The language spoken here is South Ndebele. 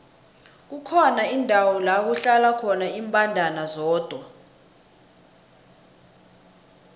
kukhona indawo lakuhlala khona imbandana zodwa